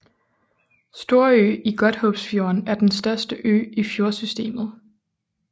Storø i Godthåbsfjorden er den største ø i fjordsystemet